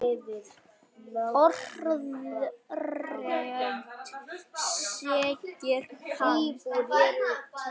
Orðrétt segir hann